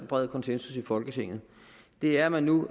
bred konsensus i folketinget er at man nu